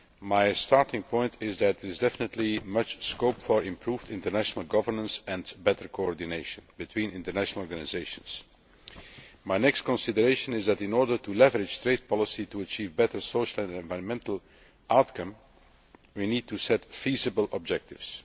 My starting point is that there is definitely much scope for improved international governance and better coordination between international organisations. My next consideration is that, in order to leverage trade policy to achieve a better social and environmental outcome, we need to set feasible objectives.